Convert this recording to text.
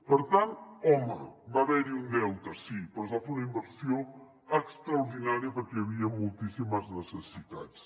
per tant home va haver hi un deute sí però es va fer una inversió extraordinària perquè hi havia moltíssimes necessitats